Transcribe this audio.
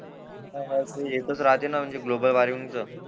हा हा ते येतच राहते ना म्हणजे ग्लोबल वॉर्मिंग चं